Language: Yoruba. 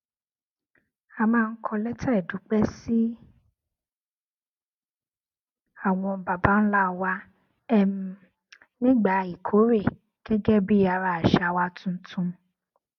a máa ń kọ létà ìdúpé sí àwọn baba ńlá wa um nígbà ìkórè gégé bí ara àṣà wa tuntun